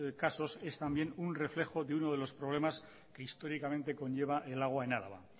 casos es también un reflejo de uno de los problemas que históricamente conlleva el agua en araba